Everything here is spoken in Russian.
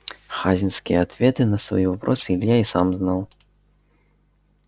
хазинские ответы на свои вопросы илья и сам знал